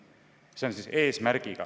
See on eesmärk.